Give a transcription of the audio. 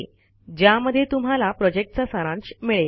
ज्यामध्ये तुम्हाला प्रॉजेक्टचा सारांश मिळेल